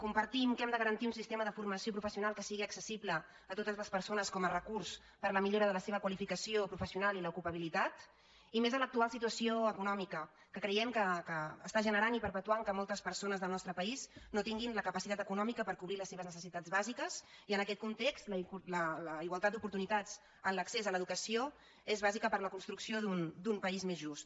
compartim que hem de garantir un sistema de formació professional que sigui acces·sible a totes les persones com a recurs per a la mi·llora de la seva qualificació professional i l’ocupabi·litat i més en l’actual situació econòmica que creiem que està generant i perpetuant que moltes persones del nostre país no tinguin la capacitat econòmica per co·brir les seves necessitats bàsiques i en aquest context la igualtat d’oportunitats en l’accés a l’educació és bà·sica per a la construcció d’un país més just